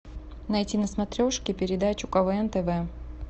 найти на смотрешке передачу квн тв